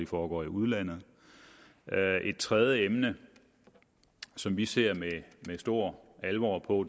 foregår i udlandet et tredje emne som vi ser med stor alvor på